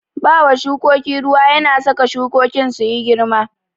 Bawa shukoki ruwa yana saka shukokin su girma.